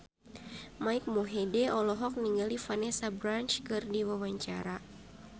Mike Mohede olohok ningali Vanessa Branch keur diwawancara